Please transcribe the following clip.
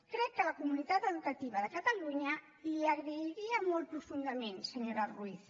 crec que la comunitat educativa de catalunya li ho agrairia molt profundament senyora ruiz